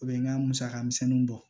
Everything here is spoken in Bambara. U bɛ n ka musaka misɛnninw bɔ